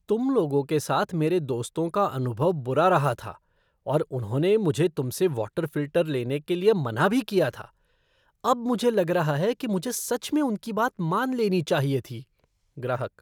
तुम लोगों के साथ मेरे दोस्तों का अनुभव बुरा रहा था और उन्होंने मुझे तुमसे वॉटर फ़िल्टर लेने के लिए मना भी किया था। अब मुझे लग रहा है मुझे सच में उनकी बात मान लेनी चाहिए थी। ग्राहक